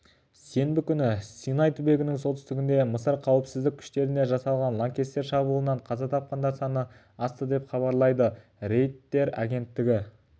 сенбі күні синай түбегінің солтүстігінде мысыр қауіпсіздік күштеріне жасалған лаңкестер шабуылынан қаза тапқандар саны асты деп хабарлайды рейтер агенттігіне сілтеме жасап